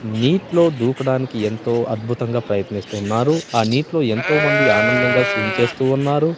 నీట్లో దూకడానికి ఎంతో అద్భుతంగా ప్రయత్నిస్తున్నారు ఆ నీటిలో ఎంతో మంది ఆనందంగా స్విమ్ చేస్తూ ఉన్నారు.